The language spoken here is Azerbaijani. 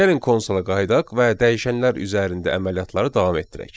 Gəlin konsola qayıdaq və dəyişənlər üzərində əməliyyatları davam etdirək.